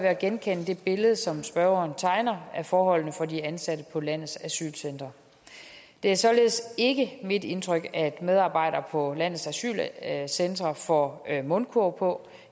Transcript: at genkende det billede som spørgeren tegner af forholdene for de ansatte på landets asylcentre det er således ikke mit indtryk at medarbejdere på landets asylcentre får mundkurv på